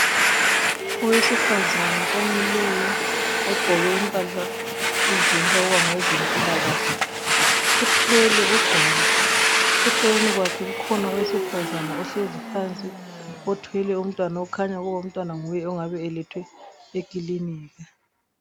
Owesifazana omileyo ogqoke impahla ezitshengisa ukuba ngowezempilakahle uthwele ugwalo eceleni kwakhe kukhona owesifazana ohlezi phansi othwele umntwana okhanya ukuba umntwana kunguye ongabe elethwe e kilinika